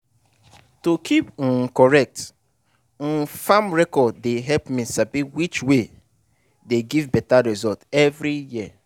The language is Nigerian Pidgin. to keep um correct um farm record dey help me sabi which way dey give better result every year.